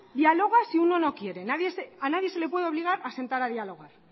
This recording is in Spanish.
dialoga si uno quiere a nadie se le puede obligar a sentar a dialogar